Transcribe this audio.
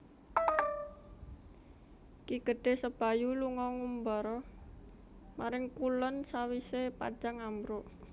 Ki Gedhé Sebayu lunga ngumbara maring kulon sawisé Pajang ambruk